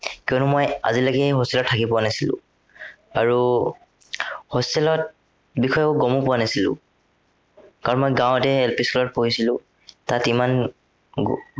কিয়নো মই আজিলৈকে hostel ত থাকি পোৱা নাছিলো। আৰু hostel ৰ বিষয়ে মই গমো পোৱা নাছিলো। কাৰন মই গাঁৱতে LP school ত পঢ়িছিলো তাত ইমান উম